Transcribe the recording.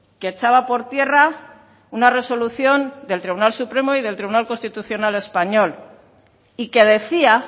que echaba por tierra una resolución del tribunal supremo y del tribunal constitucional español y que decía